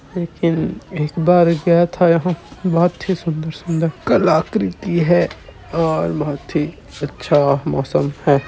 --लेकिन एक बार गया था बहोत ही सुन्दर-सुन्दर कलाकृति है और बहुत ही अच्छा मौसम है।